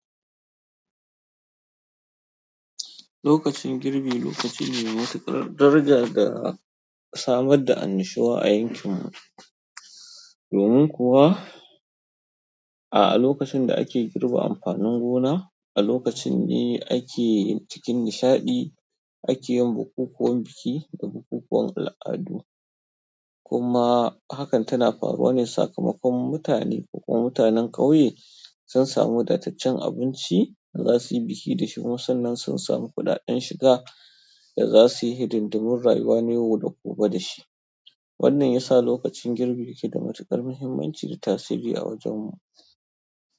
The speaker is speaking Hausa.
Lokacin girbi lokaci ne mai matuƙar daraja da samar da annashuwa a yankin mu. Domin kuwa, a lokacin da ake girbe amfanin gona, a lokacin ne ake yi cikin nishaɗi, ake yin bukukuwan biki da bukukuwan al'adu. Kuma hakan tana faruwa ne sakamakon mutane ko kuma mutanen ƙauye sun samu wadaceccen abinci da za su yi biki da shi. Kuma sannan sun samu kuɗaɗen shiga da za su yi hidindimin rayuwa na yau da gobe da shi. Wannan ya sa lokacin girbi yake da matuƙar muhimmanci da tasiri a wajen mu.